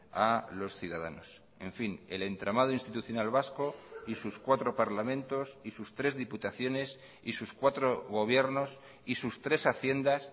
a los ciudadanos en fin el entramado institucional vasco y sus cuatro parlamentos y sus tres diputaciones y sus cuatro gobiernos y sus tres haciendas